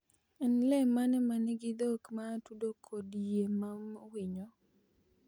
En le mane ma nigi dhok ma atudo kod yie ma winyo?